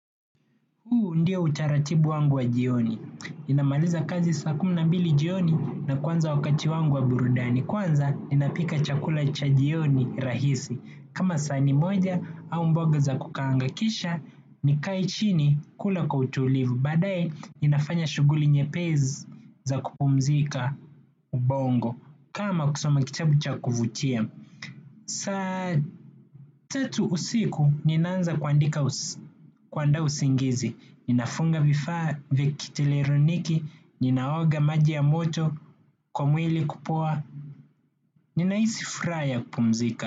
Huu ndio utaratibu wangu wa jioni, ninamaliza kazi saa kumi na mbili jioni na kuanza wakati wangu wa burudani, kwanza ninapika chakula cha jioni rahisi, kama sahani moja au mboga za kukaanga kisha, nikae chini kula kwa utulivu, baadaye ninafanya shughuli nyepesi za kupumzika ubongo, kama kusoma kitabu cha kuvutia. Saa tatu usiku ninaanza kuandaa usingizi. Ninafunga vifaa viki teleroniki. Ninaoga maji ya moto kwa mwili kupoa. Ninahisi furaha ya kupumzika.